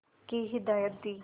की हिदायत दी